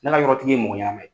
Ne ka yɔrɔtigi ye mɔgɔ ɲɛnama ye.